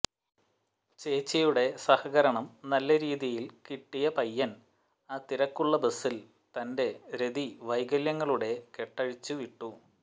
ചേച്ചിയുടെ സഹകരണം നല്ല രീതിയിൽ കിട്ടിയ പയ്യൻ ആ തിരക്കുള്ള ബസിൽ തന്റെ രതി വൈകല്യങ്ങളുടെ കെട്ടഴിച്ചു വിട്ടു